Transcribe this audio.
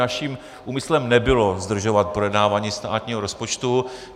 Naším úmyslem nebylo zdržovat projednávání státního rozpočtu.